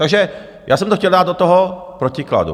Takže já jsem to chtěl dát do toho protikladu.